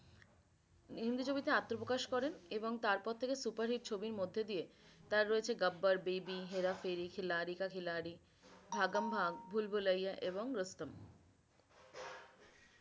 হিন্দি ছবি তে আত্মপ্রকাশ করেন এবং তারপর থেকে superhit ছবির মধে দিয়ে তার রয়েছে gabbar baby herapheri khiladi ka khiladi bhagam bhaag bhul bhulaiya এবং rustom